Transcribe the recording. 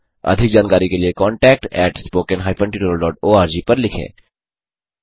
अधिक जानकारी के लिए contactspoken tutorialorg पर लिखें